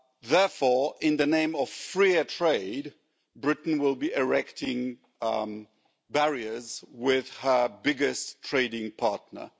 Therefore, in the name of freer trade, Britain will be erecting barriers with her biggest trading partner.